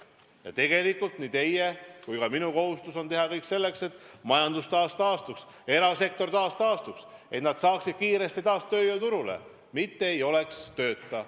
Ja nii teie kui ka minu kohustus on teha kõik selleks, et majandus taastuks, et ka erasektor taastuks, et inimesed saaksid kiiresti taas tööle, mitte ei oleks tööta.